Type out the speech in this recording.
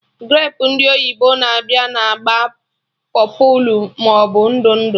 Grapu ndị oyibo na-abịa na agba pọpụlụ maọbụ ndụ ndụ